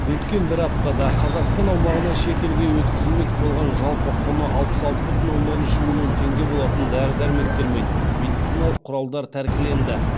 өткен бір аптада қазақстан аумағынан шетелге өткізілмек болған жалпы құны алпыс алты бүтін оннан үш миллион теңге болатын дәрі дәрмектер мен медициналық құралдар тәркіленді